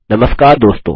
नमस्कार दोस्तों